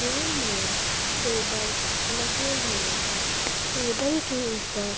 room मे table लगे हुए है टेबल के ऊपर--